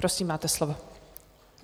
Prosím, máte slovo.